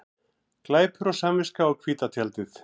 Glæpur og samviska á hvíta tjaldið